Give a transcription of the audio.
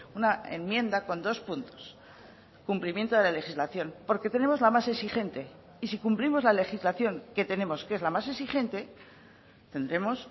una enmienda con dos puntos cumplimiento de la legislación porque tenemos la más exigente y si cumplimos la legislación que tenemos que es la más exigente tendremos